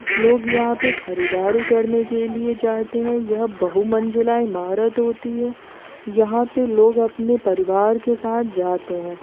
लोग यहां पे खरीददारी करने के लिए जाते हैं ये बहु मंजिला इमारत होती है यहां पे लोग अपने परिवार के साथ जाते हैं।